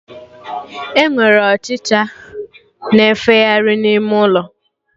Enwere Ọchịcha na-efegharị n'ime ụlọ